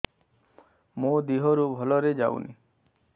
ମୋ ଦିହରୁ ଭଲରେ ଯାଉନି